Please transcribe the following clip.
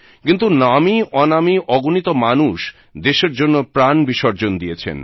কিন্তু নামীঅনামী অগণিত মানুষ দেশের জন্য প্রাণ বিসর্জন দিয়েছেন